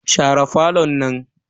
Share falon nan.